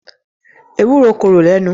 Ewúro korò le nù.